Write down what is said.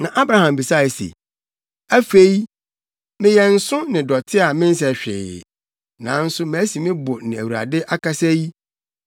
Na Abraham bisae se, “Afei, me a meyɛ nsõ ne dɔte a mensɛ hwee, nanso masi me bo ne Awurade akasa yi,